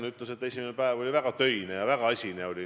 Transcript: Ta ütles, et esimene päev oli väga töine ja väga asine.